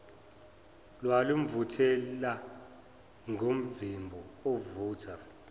lwalumvuthela ngomvimbo ovutha